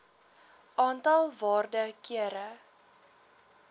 aantal waarde kere